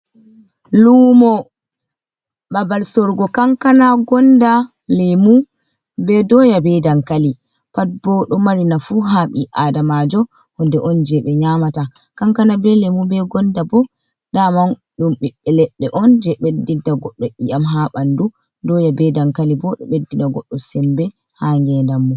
Lumo babal sorgo kankana, gonda, leemu, be doya, be dankali, pat ɓo ɗo mari nafuu haa ɓi adamajo, huunde on je ɓe nyamata, kankana, be leemu, be gonda, ɓo daman ɗum ɓiɓɓe leɗɗe on, je ɓeddinta goɗɗo i'am haa ɓanɗu doya, be dankali bo, ɗo ɓeddina goɗɗo semɓe haa ngee ɗam mum.